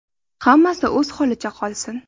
Hammasi o‘z holicha qolsin.